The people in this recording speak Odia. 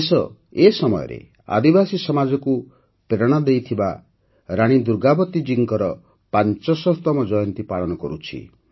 ଦେଶ ଏ ସମୟରେ ଆଦିବାସୀ ସମାଜକୁ ପ୍ରେରଣା ଦେଇଥିବା ରାଣୀ ଦୁର୍ଗାବତୀଜୀଙ୍କ ୫୦୦ତମ ଜୟନ୍ତୀ ପାଳନ କରୁଛି